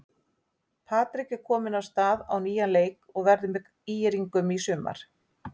Patrik er kominn af stað á nýjan leik og verður með ÍR-ingum í sumar.